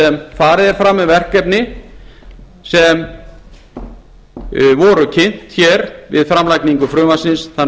sem farið er fram með verkefni sem voru kynnt við framlagningu frumvarpsins þann